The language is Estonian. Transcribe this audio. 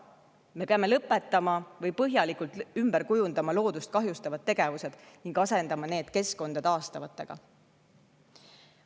Me peame lõpetama või põhjalikult ümber kujundama loodust kahjustavad tegevused ning asendama need keskkonda taastavatega.